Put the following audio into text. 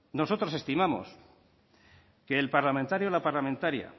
nosotros estimamos que el parlamentario o la parlamentaria